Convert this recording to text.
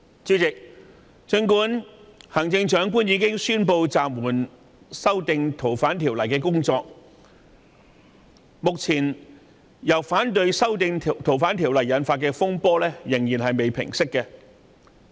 儘管行政長官已經宣布暫緩《逃犯條例》的修訂工作，因反對修訂《逃犯條例》而引發的風波仍未平息。